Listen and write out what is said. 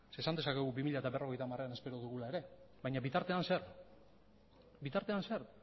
zeren eta esan dezakegu bi mila berrogeita hamarean espero dugula ere baina bitartean zer bitartean zer